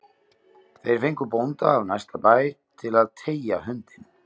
Þeir fengu bónda af næsta bæ til að teygja hundinn